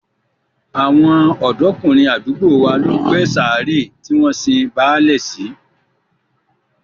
Àwọn ọ̀dọ́kùnrin àdúgbò wa ló gbé sàárè tí wọ́n sin báálẹ̀ sí